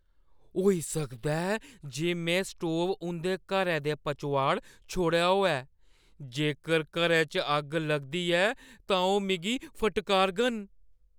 होई सकदा ऐ जे में स्टोव उंʼदे घरै दे पचोआड़ छोड़ेआ होऐ। जेकर घरै च अग्ग लगदी ऐ तां ओह् मिगी फटकारङन।